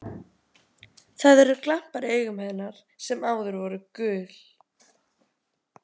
Það eru glampar í augum hennar sem áður voru gul.